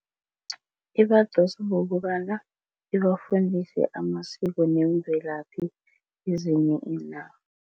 Ibadosa ngokobana ibafundise amasiko nemvelaphi ezinye